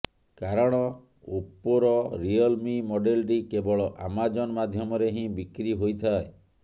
କାରଣ ଓପୋର Realme ମଡେଲଟି କେବଳ ଆମାଜନ ମାଧ୍ୟମରେ ହିଁ ବିକ୍ରି ହୋଇଥାଏ